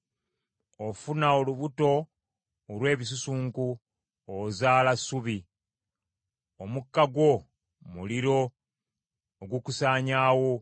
Ofuna olubuto olw’ebisusunku, ozaala ssubi, omukka gwo, muliro ogukusaanyaawo.